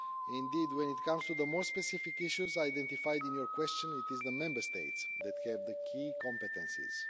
Indeed, when it comes to the more specific issues identified in your question, it is the Member States that have the key competences.